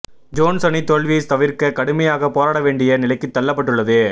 Jones அணி தோல்வியைத் தவிர்க்க கடுமையாக போராட வேண்டிய நிலைக்குத் தள்ளப்பட்டுள்ளது